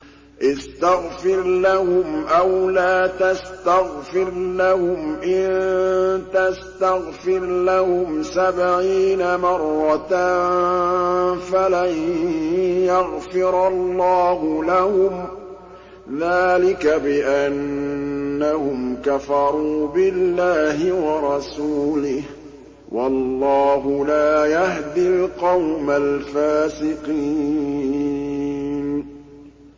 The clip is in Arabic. اسْتَغْفِرْ لَهُمْ أَوْ لَا تَسْتَغْفِرْ لَهُمْ إِن تَسْتَغْفِرْ لَهُمْ سَبْعِينَ مَرَّةً فَلَن يَغْفِرَ اللَّهُ لَهُمْ ۚ ذَٰلِكَ بِأَنَّهُمْ كَفَرُوا بِاللَّهِ وَرَسُولِهِ ۗ وَاللَّهُ لَا يَهْدِي الْقَوْمَ الْفَاسِقِينَ